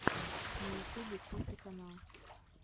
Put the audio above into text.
на ютубе коффи канал